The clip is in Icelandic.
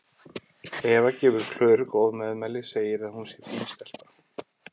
Eva gefur Klöru góð meðmæli, segir að hún sé fín stelpa.